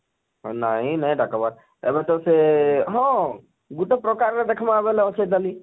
ନାଇଁ ନାଇଁ ଡ଼ାକବାର ଏବେ ତ ସେ ଆଃ ହଁ ଗୁଟେ ପ୍ରକାର ରେ ଦେଖମା ବଏଲେ ଅଛେ ତାଳି